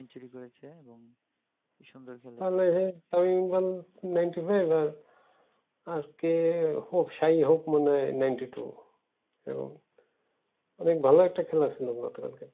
হইলো হ্যা time জ্ঞান ninety five আর আজকে হপ মানে হপ শাহী শাহী হপ ninety two তো এবার ভালো একটা খেলা খেলেছে